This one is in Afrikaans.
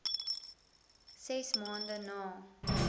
ses maande na